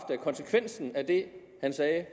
at konsekvensen af det han sagde